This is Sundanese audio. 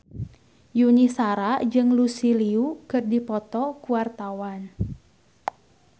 Yuni Shara jeung Lucy Liu keur dipoto ku wartawan